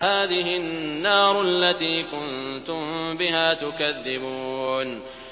هَٰذِهِ النَّارُ الَّتِي كُنتُم بِهَا تُكَذِّبُونَ